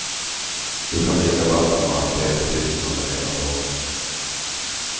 Du kan dricka vatten och örtteer fritt under hela dagen.